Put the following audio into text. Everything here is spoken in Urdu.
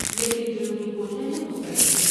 لیکن جنوبی کوریا نے مسترد کیں ۔